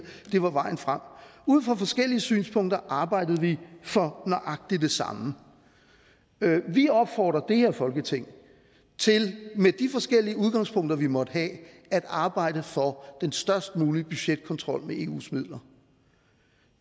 var vejen frem ud fra forskellige synspunkter arbejdede vi for nøjagtig det samme vi opfordrer det her folketing til med de forskellige udgangspunkter vi måtte have at arbejde for den størst mulige budgetkontrol med eus midler